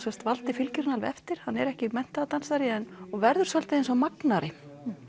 valdi fylgir henni alveg eftir hann er ekki menntaður dansari og verður svolítið eins og magnari